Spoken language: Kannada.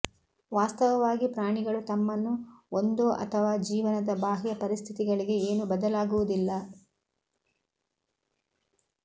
ವಾಸ್ತವವಾಗಿ ಪ್ರಾಣಿಗಳು ತಮ್ಮನ್ನು ಒಂದೋ ಅಥವಾ ಜೀವನದ ಬಾಹ್ಯ ಪರಿಸ್ಥಿತಿಗಳಿಗೆ ಏನು ಬದಲಾಗುವುದಿಲ್ಲ